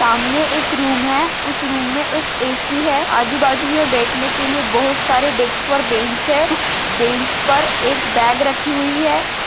सामने एक रूम है उस रूम मै एक ऐ_सी है आजु बाजु मे बैठन के लिए बहुत सारे डेस्क और बेंच है उस बेंच पर एक बॉग रखी हुई है।